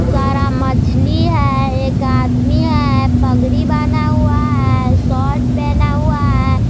सारा मछली है। एक आदमी है पगड़ी बांधा हुआ है शर्ट पहना हुआ हैं।